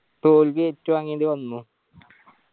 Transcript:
തോൽവി ഏറ്റുവാങ്ങേണ്ടി വന്നു.